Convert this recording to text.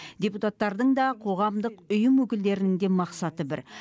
депутаттардың да қоғамдық ұйым өкілдерінің де мақсаты бір